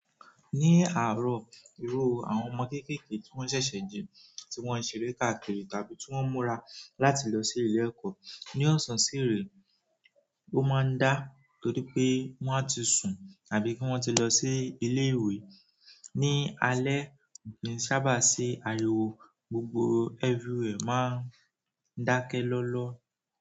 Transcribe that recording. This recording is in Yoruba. Ní àárọ̀, irú àwọn ọmọ kéékèèké tí wọ́n ṣẹ̀ṣẹ̀ jí, tí wọ́n ń ṣeré káàkiri, tàbí tí wọ́n ń múra láti lọ sí ilé ẹ̀kọ́. Ní ọ̀sán sì irè, ó máa ń dá, torípé wọ́n á ti sùn àbí kí wọ́n ti lọ sí ilé ìwé. Ní alẹ́ kin sábà sí àríwó, gbogbo everywhere máa ń dákẹ́ lọ́ lọ́.